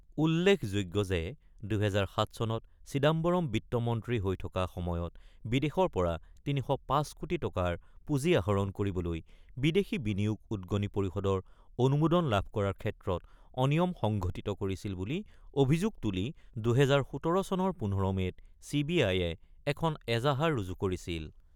উল্লেখযোগ্য যে ২০০৭ চনত চিদাম্বম বিত্তমন্ত্ৰী হৈ থকা সময়ত বিদেশৰ পৰা ৩০৫ কোটি টকাৰ পুঁজি আহৰণ কৰিবলৈ বিদেশী বিনিয়োগ উদগনি পৰিষদৰ অনুমোদন লাভ কৰাৰ ক্ষেত্ৰত অনিয়ম সংঘটিত কৰিছিল বুলি অভিযোগ তুলি ২০১৭ চনৰ ১৫ মে'ত চি বি আইয়ে এখন এজাহাৰ ৰুজু কৰিছিল।